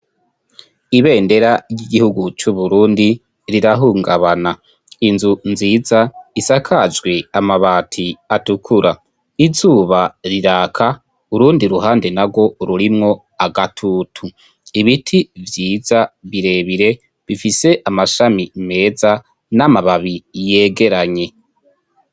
Ibendera ry'igihugu c' Uburundi rirahungabana. Inzu nziza isakajwe amabati atukura. Izuba riraka, urundi ruhande narwo rurimwo agatutu. Ibiti vyiza birebire bifise amashami meza n'amababi yegeranye.